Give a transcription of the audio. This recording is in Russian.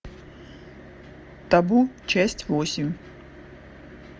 табу часть восемь